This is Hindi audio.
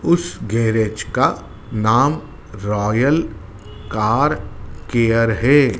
उस गैरेज का नाम रॉयल कार केयर है।